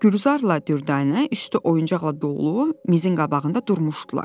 Gülzarla Dürdanə üstü oyuncaqla dolu mizin qabağında durmuşdular.